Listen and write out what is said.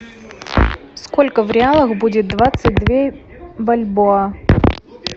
сколько в реалах будет двадцать две бальбоа